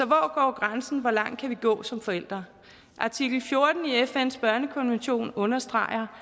grænsen hvor langt kan vi gå som forældre artikel fjorten i fns børnekonvention understreger